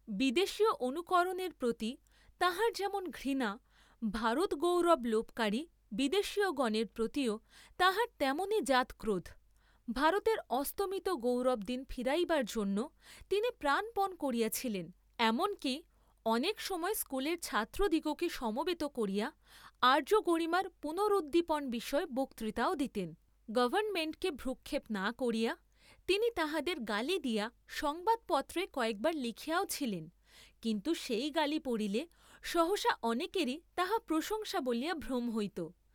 বিদেশীয় অনুকরণের প্রতি তাঁহার যেমন ঘৃণা, ভারত গৌরব লােপকারী বিদেশীয়গণের প্রতিও তাঁহার তেমনি জাতক্রোধ, ভারতের অস্তমিত গৌরবদিন ফিরাইবার জন্য তিনি প্রাণপণ করিয়াছিলেন, এমন কি অনেক সময় স্কুলের ছাত্রদিগকে সমবেত করিয়া আর্য্যগরিমার পুনরুদ্দীপন বিষয়ে বক্তৃতাও দিতেন, গভর্ণমেণ্টকে ভ্রুক্ষেপ না করিয়া তিনি তাহাদের গালি দিয়া সংবাদপত্রে কয়েকবার লিখিয়াও ছিলেন, কিন্তু সেই গালি পড়িলে সহসা অনেকেরই তাহা প্রশংসা বলিয়া ভ্রম হইত।